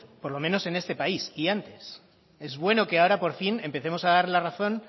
por lo menos en este país y antes es bueno que ahora por fin empecemos a dar la razón